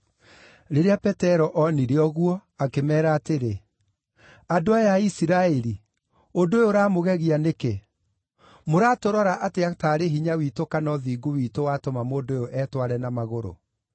Rĩrĩa Petero onire ũguo, akĩmeera atĩrĩ, “Andũ aya a Isiraeli, ũndũ ũyũ ũramũgegia nĩkĩ? Mũratũrora atĩa taarĩ hinya witũ kana ũthingu witũ watũma mũndũ ũyũ etware na magũrũ?